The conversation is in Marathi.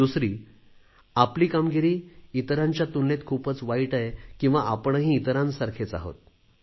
दुसरी आपली कामगिरी इतरांच्या तुलनेत खूपच वाईट आहे किंवा आपणही इतरांसारखेच आहोत